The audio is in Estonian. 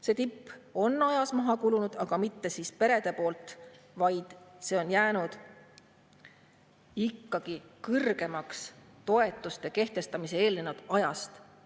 See tipp on ajas maha kulunud, aga mitte perede pärast, vaid see on jäänud ikkagi kõrgemaks toetuste kehtestamisele eelnenud ajast.